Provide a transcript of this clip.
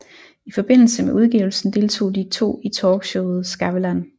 I forbindelse med udgivelsen deltog de to i talkshowet Skavlan